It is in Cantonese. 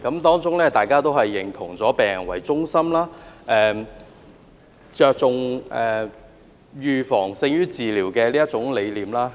大家都認同以病人為中心，着重預防勝於治療的理念。